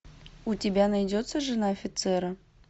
у тебя найдется жена офицера